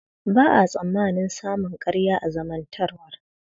Ba a tsammanin samun ƙarya a zantawar dattawa.